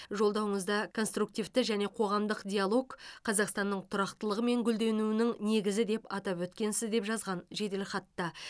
жолдауыңызда конструктивті және қоғамдық диалог қазақстанның тұрақтылығы мен гүлденуінің негізі деп атап өткенсіз деп жазған жеделхатта